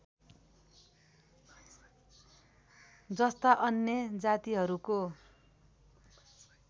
जस्ता अन्य जातिहरूको